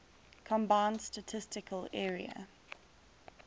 combined statistical area